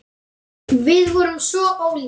Við erum svo ólík.